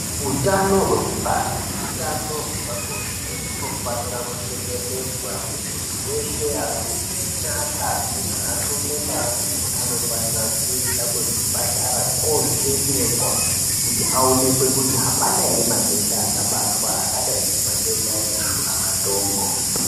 Utano hwekubara neutano hwepabonde hunofanira kuchengetedzwa hwemuntu weshe arume neakadzi, nearume nearume anofanira kuenda kuzvipatara kovhenekwa Kuti aonekwe kuti hapana ere matenda angabatwa akadai ngematenda eshura matongo.